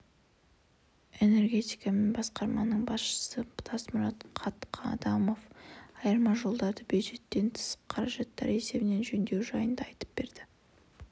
энергетика және басқармасының басшысы тасмұрат қатқадамов айырма жолдарды бюджеттен тыс қаражаттар есебінен жөндеу жайында айтып берді